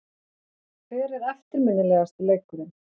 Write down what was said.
Hver er eftirminnilegasti leikurinn?